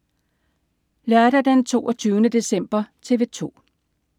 Lørdag den 22. december - TV 2: